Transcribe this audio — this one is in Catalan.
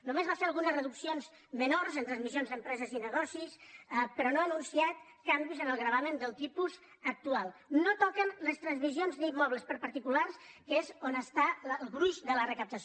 només va fer algunes reduccions menors en transmissions d’empreses i negocis però no ha anunciat canvis en el gravamen del tipus actual no toquen les transmissions d’immobles per a particulars que és on està el gruix de la recaptació